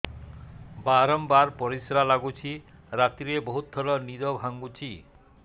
ବାରମ୍ବାର ପରିଶ୍ରା ଲାଗୁଚି ରାତିରେ ବହୁତ ଥର ନିଦ ଭାଙ୍ଗୁଛି